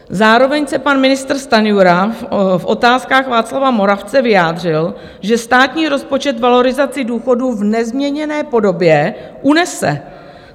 Zároveň se pan ministr Stanjura v Otázkách Václava Moravce vyjádřil, že státní rozpočet valorizaci důchodů v nezměněné podobě unese.